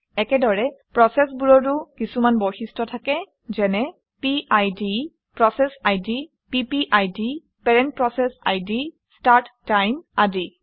একেদৰে প্ৰচেচবোৰৰো কিছুমান বৈশিষ্ট্য থাকে যেনে - পিড পিপিআইডি ষ্টাৰ্ট টাইম আদি